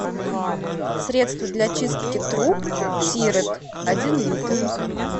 средство для чистки труб тирет один литр